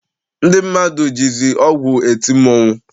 Ndị mmadụ jizi ọgwụ eti mmọnwụ.